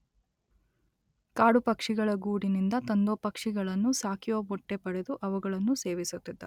ಕಾಡುಪಕ್ಷಿಗಳ ಗೂಡಿನಿಂದ ತಂದೋ ಪಕ್ಷಿಗಳನ್ನು ಸಾಕಿಯೋ ಮೊಟ್ಟೆ ಪಡೆದು ಅವುಗಳನ್ನು ಸೇವಿಸುತ್ತಿದ್ದ.